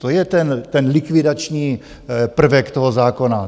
To je ten likvidační prvek toho zákona.